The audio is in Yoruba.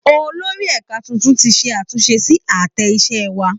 Olórí ẹ̀ka tuntun ti ṣe àtúnṣe sí àtẹ iṣẹ́ wa